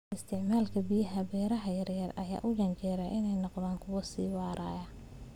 Isticmaalka biyaha ee beeraha yar yar ayaa u janjeera inay noqdaan kuwo sii waaraya.